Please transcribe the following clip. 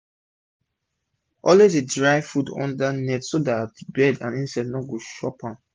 always sun dry clean food under net so dat bird and insect no go chop am